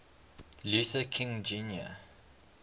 luther king jr